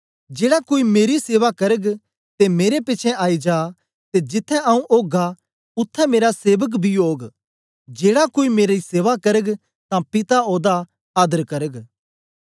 जेड़ा कोई मेरी सेवा करग ते मेरे पिछें आई जा ते जिथें आऊँ ओगा उत्थें मेरा सेवक बी ओग जेड़ा कोई मेरी सेवा करग तां पिता ओदा आदर करग